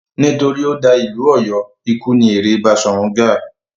Nítorí ó da ìlú Ọ̀yọ́, ikú ni èrè Baṣọ̀run Gáà.